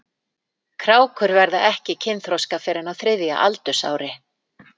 Krákur verða ekki kynþroska fyrr en á þriðja aldursári.